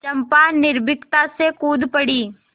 चंपा निर्भीकता से कूद पड़ी